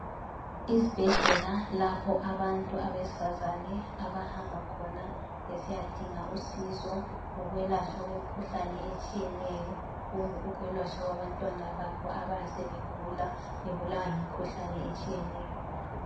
Izibhedlela lapho abantu abesifazane abahamba khona besiyadinga usizo lolwelatshwa kwemkhuhlane etshiyeneyo kumbe ukwelatshwa kwabantwana babo abaya sebegula bebulawa yimkhuhlane etshiyeneyo.